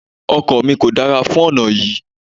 Ọkọ̀ mi kò dára fún ọ̀nà yí.